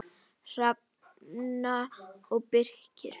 Hrefna og Birkir.